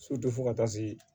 fo ka taa se